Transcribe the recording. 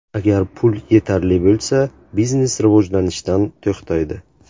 Agar pul yetarli bo‘lsa, biznes rivojlanishdan to‘xtaydi.